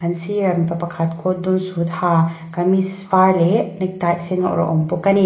sirah mipa pakhat coat dum suit ha kamis var leh nectie sen a awrh a awm bawk a ni.